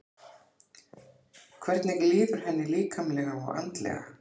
Hvernig líður henni líkamlega og andlega?